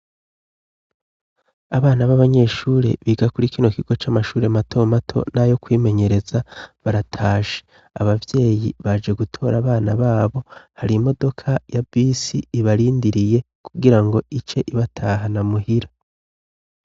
Abana b'abanyeshure biga kuri kino kigo c'amashuri mato mato nayo kwimenyereza baratashe, abavyeyi baje gutora abana babo hari imodoka ya bisi ibarindiriye kugira ngo ice ibatahana muhira.